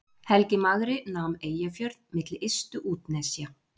helgi magri nam eyjafjörð milli ystu útnesja